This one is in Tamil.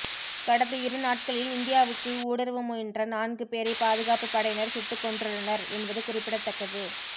கடந்த இரு நாட்களில் இந்தியாவுக்குள் ஊடுருவ முயன்ற நான்கு பேரை பாதுகாப்பு படையினர் சுட்டுக்கொன்றுள்ளனர் என்பது குறிப்பிடத்தக்கது